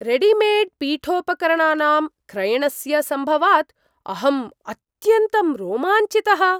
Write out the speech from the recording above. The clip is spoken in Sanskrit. रेडिमेड्पीठोपकरणानां क्रयणस्य सम्भवात् अहं अत्यन्तं रोमाञ्चितः।